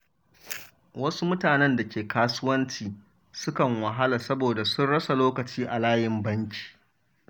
Wasu mutanen da ke kasuwanci sukan wahala saboda sun rasa lokaci a layin banki.